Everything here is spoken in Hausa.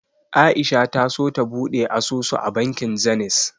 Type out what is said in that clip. A'isha ta so ta buɗe asusu a bankin Zenith.